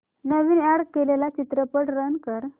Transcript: नवीन add केलेला चित्रपट run कर